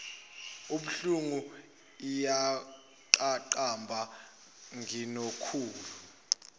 ibuhlungu iyaqaqamba nginokhulu